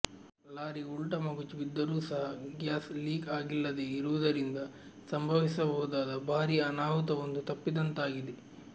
lorry ಉಲ್ಟಾ ಮಗುಚಿ ಬಿದ್ದರೂ ಸಹ ಗ್ಯಾಸ್ ಲೀಕ್ ಆಗಿಲ್ಲದೇ ಇರುವುದರಿಂದ ಸಂಭವಿಸಬಹುದಾದ ಭಾರೀ ಅನಾಹುತವೊಂದು ತಪ್ಪಿದಂತಾಗಿದೆ